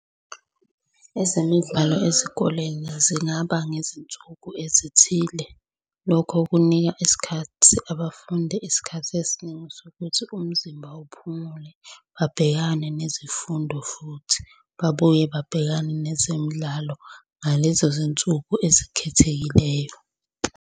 Ezemidlalo ezikoleni zingaba ngezinsuku ezithile, lokho kunika isikhathi abafundi isikhathi esiningi sokuthi umzimba uphumule, babhekane nezifundo futhi babuye babhekane nezemidlalo ngalezo zinsuku ezikhethekileyo.